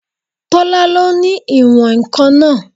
Tọ́lá lo ní ìwọ̀n-ǹkan náà